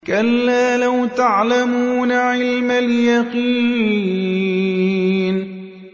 كَلَّا لَوْ تَعْلَمُونَ عِلْمَ الْيَقِينِ